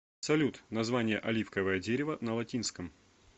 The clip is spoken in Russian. салют название оливковое дерево на латинском